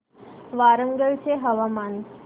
वरंगल चे हवामान